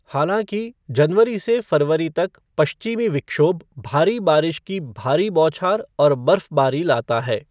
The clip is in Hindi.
हालांकि, जनवरी से फरवरी तक पश्चिमी विक्षोभ भारी बारिश की भारी बौछार और बर्फबारी लाता है।